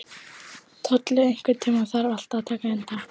Tolli, einhvern tímann þarf allt að taka enda.